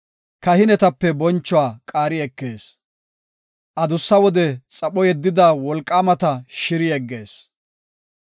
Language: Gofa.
Kahinetape bonchuwa qaari ekees; adussa wode xapho yeddida wolqaamata shiri yeggees.